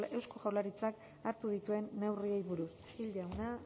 eusko jaurlaritzak hartu dituen neurriei buruz gil jauna